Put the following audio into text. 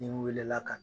N'i wulila ka